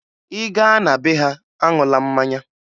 Ị gaa na be ha, aṅụla mmanya!